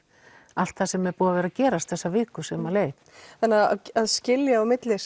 allt sem er búið að vera að gerast þessa viku sem leið en að skilja á milli